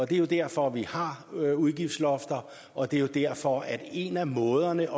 det er derfor vi har udgiftslofter og det er derfor at en af måderne